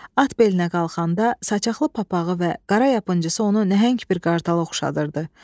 At belinə qalxanda saçaqlı papağı və qara yapıncısı onu nəhəng bir qartala oxşadırdı.